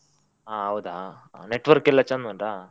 ಹಾ ಹೌದಾ network ಎಲ್ಲ ಚಂದ ಉಂಟಾ?